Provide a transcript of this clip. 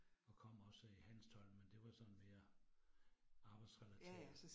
Og kom også i Hanstholm, men det var sådan mere arbejdsrelateret